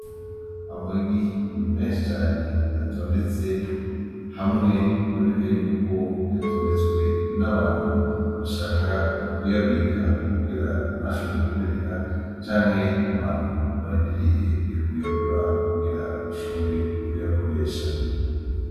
Amagi menshi cane atondetse, hamwe biboneka yuko yatondetswe n’abantu, bashaka kuyabika kugira ntashobore kumeneka canke abantu barindiriye kuyagura kugira bashobore kuyakoresha .